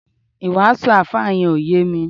iwasu alfa yen o ye mi